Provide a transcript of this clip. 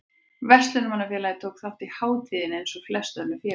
Verslunarmannafélagið tók þátt í hátíðinni eins og flest önnur félög.